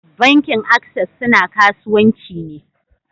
Bankin access suna kasuwanci ne.